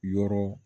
Yɔrɔ